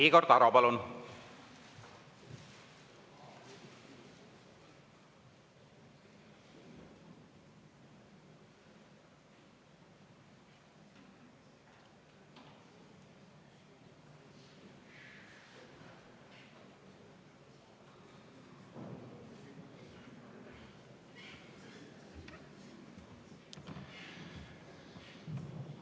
Igor Taro, palun!